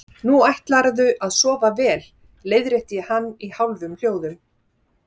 Nú ætlarðu að sofa vel, leiðrétti ég hann í hálfum hljóðum.